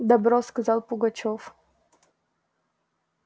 добро сказал пугачёв